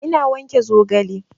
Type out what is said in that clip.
Ina wanke zogale